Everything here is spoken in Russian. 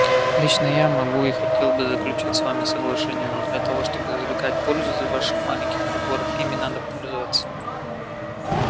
лично я могу и хотел бы заключить с вами соглашение но для того чтобы извлекать пользу из ваших маленьких приборов ими надо пользоваться